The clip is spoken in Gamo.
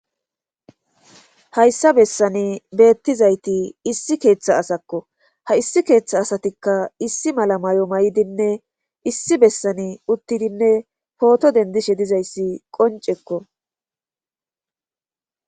Hayssa bessani beetizayti issi keeththa asakko ha issi keeththa asati issi mala mayo mayidinne issi besani uttidinne pooto dendishe dizayssi qonccekko.